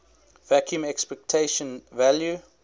vacuum expectation value